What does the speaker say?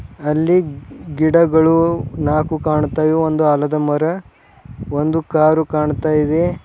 ಅಲ್ಲಿ ಗಿಡಗಳು ನಾಲ್ಕು ಕಾಣ್ತಾ ಇವೆ ಒಂದು ಆಲದ ಮರ ಒಂದು ಕಾರು ಕಾಣ್ತಾ ಇದೆ.